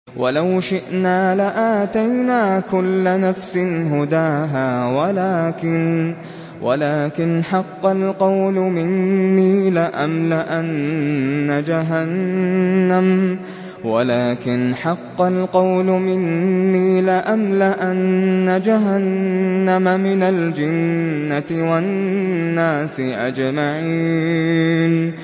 وَلَوْ شِئْنَا لَآتَيْنَا كُلَّ نَفْسٍ هُدَاهَا وَلَٰكِنْ حَقَّ الْقَوْلُ مِنِّي لَأَمْلَأَنَّ جَهَنَّمَ مِنَ الْجِنَّةِ وَالنَّاسِ أَجْمَعِينَ